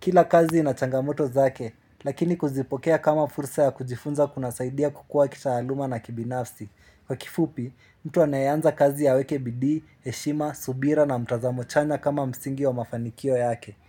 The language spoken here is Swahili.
Kila kazi ina changamoto zake, lakini kuzipokea kama fursa ya kujifunza kuna saidia kukua kitaaluma na kibinafsi Kwa kifupi, mtu anayeanza kazi ya weke bidii, eshima, subira na mtazamo chanya kama msingi wa mafanikio yake.